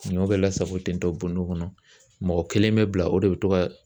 Finiw bɛ lasago ten tɔ bɔndɔ kɔnɔ, mɔgɔ kelen bɛ bila o de bɛ to ka